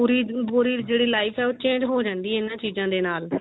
ਪੂਰੀ ਪੂਰੀ ਜਿਹੜੀ life ਹੈ ਉਹ change ਹੋ ਜਾਂਦੀ ਏ ਇਹਨਾਂ ਚੀਜ਼ਾਂ ਦੇ ਨਾਲ